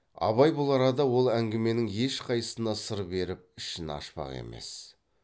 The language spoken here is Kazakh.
абай бұл арада ол әңгіменің ешқайсысына сыр беріп ішін ашпақ емес